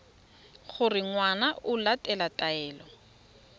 gore ngwana o latela taelo